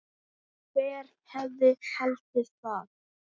Hver hefði haldið það?